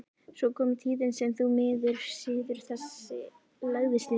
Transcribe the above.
Svo kom tíðin sem því miður siður þessi lagðist niður.